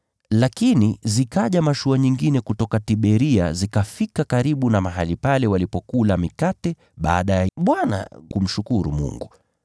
Lakini zikaja mashua nyingine kutoka Tiberia zikafika karibu na mahali pale walipokula mikate baada ya Bwana kumshukuru Mungu.